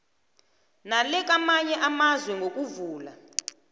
nelakamanye amazwe ngokuvula